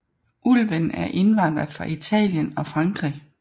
Ulven er indvandret fra Italien og Frankrig